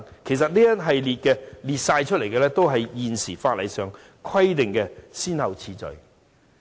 其實，當中列出的次序也是現時法例規定的先後次序。